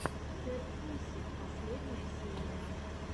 кэтпусик последняя серия